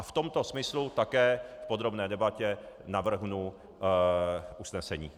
A v tomto smyslu také v podrobné debatě navrhnu usnesení.